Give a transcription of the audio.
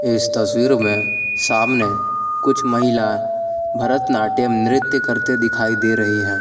इस तस्वीर में सामने कुछ महिला भरतनाट्यम नृत्य करते दिखाई दे रही हैं।